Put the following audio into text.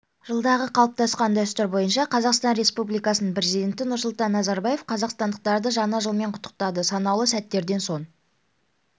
жылдағы қалыптасқан дәстүр бойынша қазақстан республикасының президенті нұрсұлтан назарбаев қазақстандықтарды жаңа жылмен құттықтады санаулы сәттерден соң